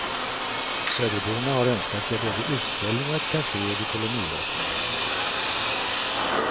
Söderborna har önskat sig både utställning och ett café vid kolonilotterna.